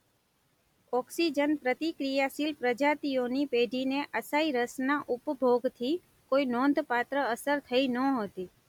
Oxygen પ્રતિક્રિયાશીલ પ્રજાતિઓની પેઢીને અસાઈ રસના ઉપભોગથી કોઈ નોંધપાત્ર અસર થઈ નહોતી.